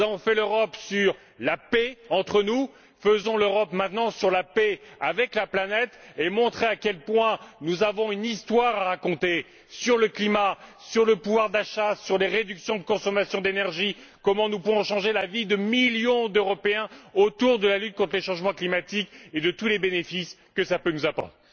Nous avons fait l'Europe sur la paix entre nous, faisons maintenant l'Europe sur la paix avec la planète et montrons à quel point nous avons une histoire à raconter sur le climat, sur le pouvoir d'achat, sur des réductions de notre consommation d'énergie, comment nous pouvons changer la vie de millions d'Européens autour de la lutte contre le changement climatique, et tous les bénéfices que cela peut nous apporter.